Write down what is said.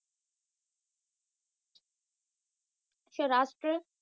Saurashtra